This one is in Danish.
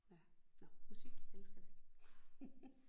Ja nåh musik elsker det